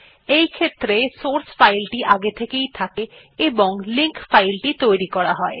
এইক্ষেত্রে সোর্স ফাইলটি আগে থেকেই থাকে এবং লিঙ্ক ফাইলটি তৈরী করা হয়